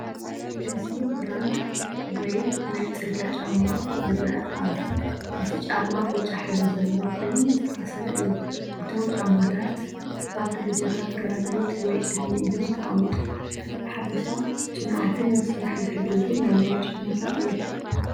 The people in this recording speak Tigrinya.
እዚ ብራድ ወይ ናይ ጽርግያ ጫማ ይረአ ኣሎ። እቲ ጫማ ብጫ ሕብሪ ዘለዎ ኮይኑ ዝተኣስረ እዩ። እቶም ጫማታት ኣብ ደረጃታት ግራናይት ወይ እምኒ እዮም ተቀሚጠም። ብሓፈሻ ጽኑዓትን ንስራሕ ዝሕግዙን ናይ መሬት ጫማታት እዮም።